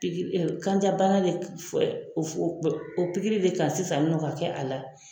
Kanjabana de o pikiri de k'a la sisan nin nɔn ka k'a la.